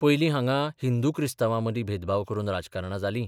पयलीं हांगां हिंदू क्रिस्तावांमदी भेदभाव करून राजकारणां जाली.